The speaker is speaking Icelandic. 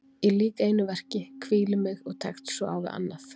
Ég lýk einu verki, hvíli mig og tekst svo á við annað.